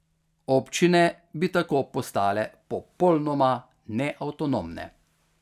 Občine bi tako postale popolnoma neavtonomne.